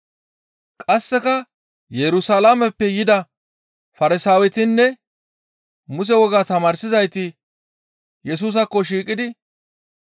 Qasseka Yerusalaameppe yida Farsaawetinne Muse wogaa tamaarsizayti Yesusaakko shiiqidi,